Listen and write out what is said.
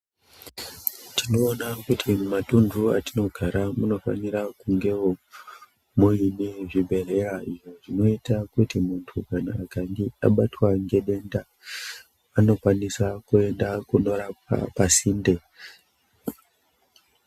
Tinoona kuti mumatundu atinogara munofanira kungewo muine zvibhehlera zvinoita kuti munhu akange abatwa ngedenda anokwanisa kuenda kunorapwa pasinde